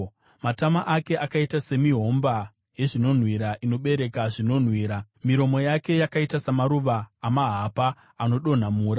Matama ake akaita semihomba yezvinonhuhwira inobereka zvinonhuhwira. Miromo yake yakaita samaruva amahapa anodonha mura.